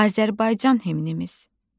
Azərbaycan himnimiz.